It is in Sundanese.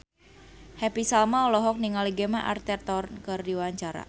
Happy Salma olohok ningali Gemma Arterton keur diwawancara